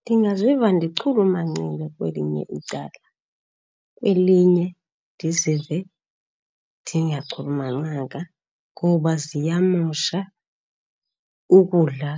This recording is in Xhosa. Ndingaziva ndichulumancile kwelinye icala kwelinye ndizive ndingachulumancanga, ngoba ziyamosha ukudla